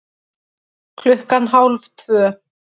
Klukkan hálf tvö